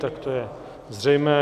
Tak to je zřejmé.